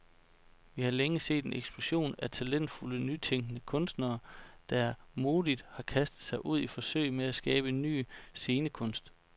Vi har længe set en eksplosion af talentfulde, nytænkende kunstnere, der modigt har kastet sig ud i forsøg med at skabe ny scenekunst.